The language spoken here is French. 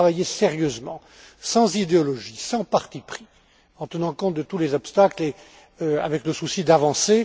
J'y ai travaillé sérieusement, sans idéologie, sans parti pris, en tenant compte de tous les obstacles et avec le souci d'avancer.